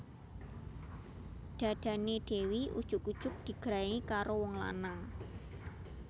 Dhadhane Dewi ujug ujug digrayangi karo wong lanang